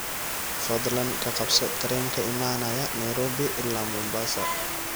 fadlan ka qabso tareen ka imanaya nairobi ilaa mombasa